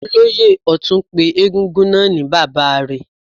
Olóyè Ọtun pé egúngún náà ni bàbá rẹ̀.